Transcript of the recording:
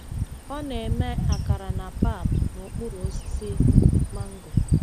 Ọ na-eme akara na pap n'okpuru osisi mango.